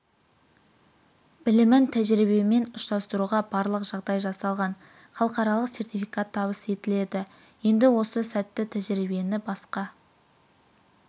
білімін тәжірибемен ұштастыруға барлық жағдай жасалған халықаралық сертификат табыс етіледі енді осы сәтті тәжірибені басқа